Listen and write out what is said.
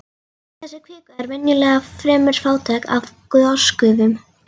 Þessi kvika er venjulega fremur fátæk af gosgufum.